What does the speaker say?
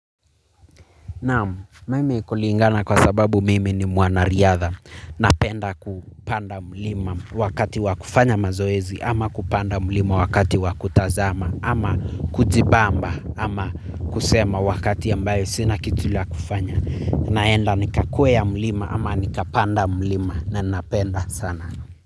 Naam, mimi kuliingana kwa sababu mimi ni mwana riatha. Napenda kupanda mlima wakati wa kufanya mazoezi ama kupanda mlima wakati wa kutazama ama kujibamba ama kusema wakati ambayo sina kitu la kufanya. Naenda nikakweya mlima ama nikapanda mlima na napenda sana.